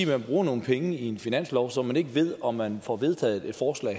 man bruger nogle penge i en finanslov som man ikke ved om man får vedtaget et forslag